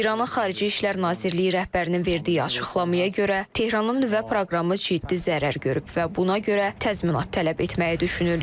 İranın Xarici İşlər Nazirliyi rəhbərinin verdiyi açıqlamaya görə, Tehranın nüvə proqramı ciddi zərər görüb və buna görə təzminat tələb etməyi düşünürlər.